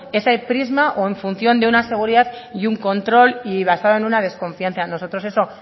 ese prisma o en función de una seguridad y un control y basada en una desconfianza nosotros eso